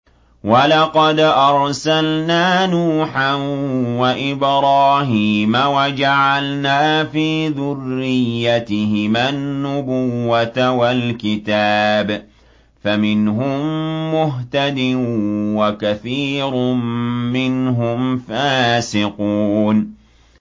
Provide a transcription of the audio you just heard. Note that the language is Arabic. وَلَقَدْ أَرْسَلْنَا نُوحًا وَإِبْرَاهِيمَ وَجَعَلْنَا فِي ذُرِّيَّتِهِمَا النُّبُوَّةَ وَالْكِتَابَ ۖ فَمِنْهُم مُّهْتَدٍ ۖ وَكَثِيرٌ مِّنْهُمْ فَاسِقُونَ